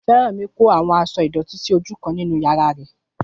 Fẹ́rànmi kó àwọn aṣọ ìdọ̀tí jọ sí ojú kan nínú yàrá rẹ̀